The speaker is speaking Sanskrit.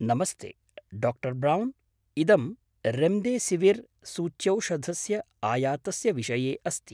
नमस्ते, डाक्टर् ब्रौन्। इदं रेम्देसिविर् सूच्यौषधस्य आयातस्य विषये अस्ति।